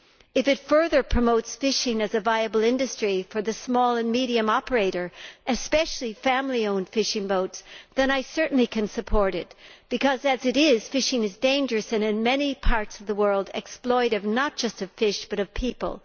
If it further promotes fishing as a viable industry for the small and medium operator, especially family owned fishing boats, then I certainly can support it, because, as it is, fishing is dangerous and in many parts of the world exploitive not just of fish, but also of people.